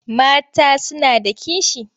Mata suna da kishi.